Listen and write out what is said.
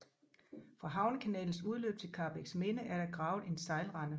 Fra havnekanalens udløb til Karrebæksminde er der en gravet sejlrende